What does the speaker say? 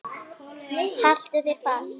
Haltu þér fast.